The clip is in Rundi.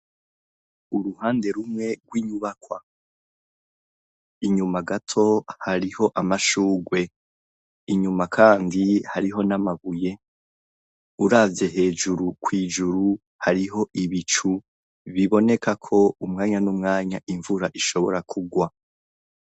Uruhande rumwe rw'inyubakwa. Inyuma gato hariho amashugwe. Inyuma kandi hariho n'amabuye, uravye hejuru kw'ijuru hariho ibicu biboneka ko umwanya n'umwanya imvura ishobora kugwa.